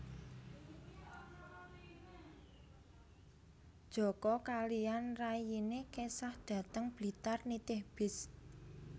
Joko kaliyan rayine kesah dhateng Blitar nitih bis